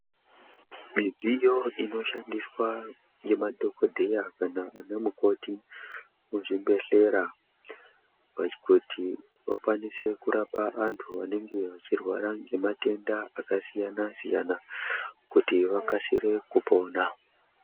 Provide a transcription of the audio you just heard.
Midziyo inoshandiswa ngemadhokodheya kana ana mukoti kuzvibhehlera kuti vakwanise kurapa antu anenge eirwara ngematenda akasiyana siyana kuti vakasire pona.